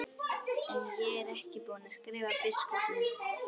En ég er ekki búinn að skrifa biskupnum.